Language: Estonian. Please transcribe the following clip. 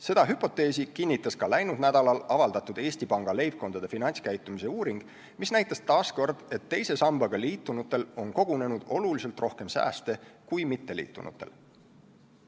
Seda hüpoteesi kinnitas ka läinud nädalal avaldatud Eesti Panga leibkondade finantskäitumise uuring, mis näitas taas, et teise sambaga liitunutel on kogunenud oluliselt rohkem sääste kui mitteliitunutel.